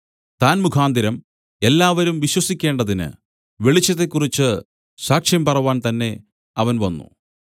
താൻ മുഖാന്തരം എല്ലാവരും വിശ്വസിക്കേണ്ടതിന് വെളിച്ചത്തെക്കുറിച്ച് സാക്ഷ്യം പറവാൻ തന്നേ അവൻ വന്നു